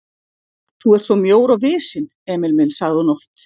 Þú ert svo mjór og visinn, Emil minn sagði hún oft.